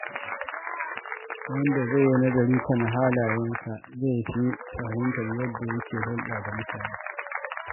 Wanda ke nazari kan halayensa zai fi fahimtar yadda yake hulɗa da mutane.